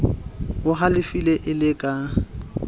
o halefile e le ka